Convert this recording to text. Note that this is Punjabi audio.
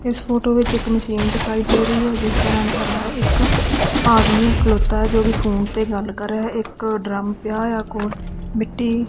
ਇਸ ਫੋਟੋ ਵਿੱਚ ਇੱਕ ਮਸ਼ੀਨ ਦਿਖਾਈ ਦੇ ਰਹੀ ਹੈ ਜਿਸ ਦਾ ਰੰਗ ਹਰਾ ਹੈ ਇੱਕ ਆਦਮੀ ਖਲੋਤਾ ਜੋ ਕਿ ਫੋਨ ਤੇ ਗੱਲ ਕਰ ਰਿਹਾ ਇੱਕ ਡਰਮ ਪਿਆ ਆ ਕੋਲ ਮਿੱਟੀ--